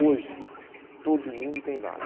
Hoje, todo mundo tem vale.